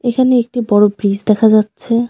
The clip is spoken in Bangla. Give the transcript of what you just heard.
এখানে একটি বড়ো ব্রিজ দেখা যাচ্ছে।